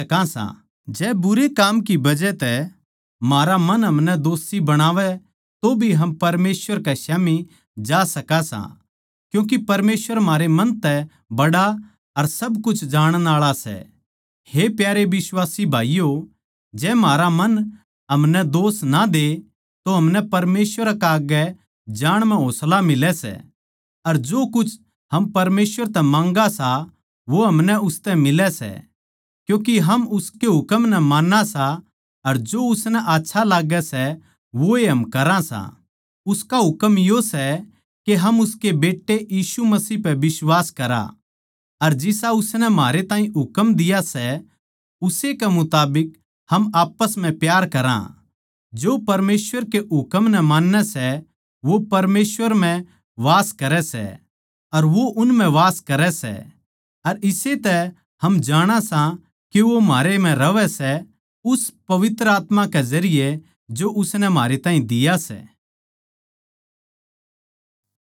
जो परमेसवर के हुकम नै मान्नै सै वो परमेसवर म्ह वास करे सै अर वो उन म्ह वास करे सै अर इस्से तै हम जाणा सां के वो म्हारै म्ह रहवै सै उस पवित्र आत्मा के जरिये जो उसनै म्हारै ताहीं दिया सै